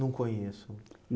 Não conheço.